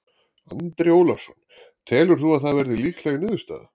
Andri Ólafsson: Telur þú að það verði líkleg niðurstaða?